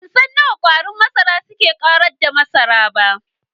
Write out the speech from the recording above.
Bansan yadda kwarin masara suka Ƙarar da masarar ba.